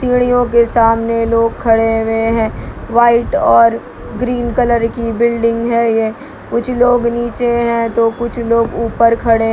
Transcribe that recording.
सीढ़ियों के सामने लोग खड़े हुए हैं व्हाइट और ग्रीन कलर की बिल्डिंग है ये कुछ लोग नीचे है तो कुछ लोग ऊपर खड़े --